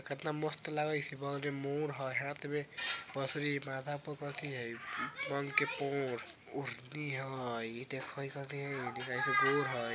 कितना मस्त लगा है इसे मोर हैं हाथ में माथा कथी हई हय |